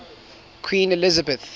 queen elizabeth